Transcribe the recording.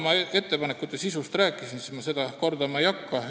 Ma ettepanekute sisust juba rääkisin, seda ma kordama ei hakka.